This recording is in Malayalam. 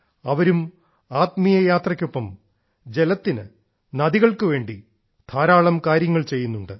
അവരും ആത്മീയ യാത്രയ്ക്കൊപ്പം ജലത്തിനും നദികൾക്കു വേണ്ടി ധാരാളം കാര്യങ്ങൾ ചെയ്യുന്നുണ്ട്